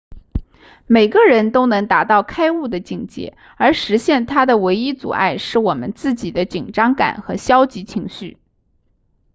每个人都能达到开悟的境界而实现它的唯一阻碍是我们自己的紧张感和消极情绪